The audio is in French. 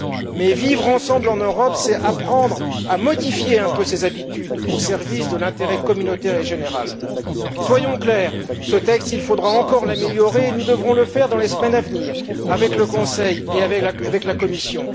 Mais vivre ensemble en Europe c'est apprendre à modifier un peu ses habitudes au service de l'intérêt communautaire et général. Soyons clairs il faudra encore améliorer ce texte et nous devrons le faire dans les semaines à venir, avec le Conseil et avec la Commission.